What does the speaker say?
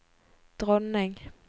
dronning